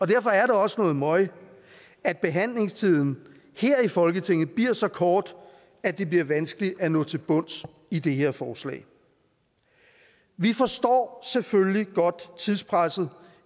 derfor er det også noget møg at behandlingstiden her i folketinget bliver så kort at det bliver vanskeligt at nå til bunds i det her forslag vi forstår selvfølgelig godt tidspresset